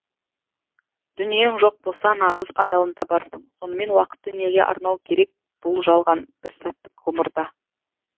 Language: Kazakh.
дүниең жоқ болса нағыз адалын табарсың сонымен уақытты неге арнау керек бұл жалған бір сәттік ғұмырда